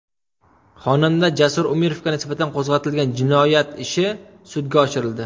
Xonanda Jasur Umirovga nisbatan qo‘zg‘atilgan jinoyat ishi sudga oshirildi.